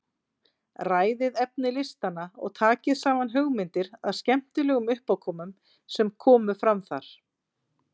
Ræðið efni listanna og takið saman hugmyndir að skemmtilegum uppákomum sem komu fram þar.